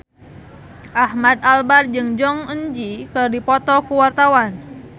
Ahmad Albar jeung Jong Eun Ji keur dipoto ku wartawan